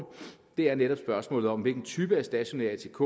er netop spørgsmålet om hvilken type af stationær atk